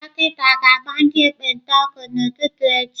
Dọkịta ga-agba ndị ekpenta ọgwụ n'ụtụtụ echi.